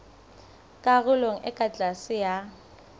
karolong e ka tlase ya